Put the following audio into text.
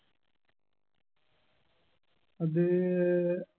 അത്